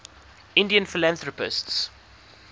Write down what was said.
indian philanthropists